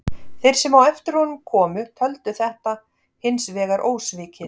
Þeir sem á eftir honum komu töldu þetta hins vegar ósvikið.